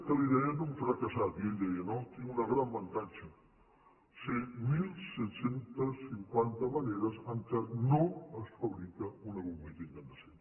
que li deien un fracassat i ell deia no tinc un gran avantatge sé disset cinquanta maneres en què no es fabrica una bombeta incandescent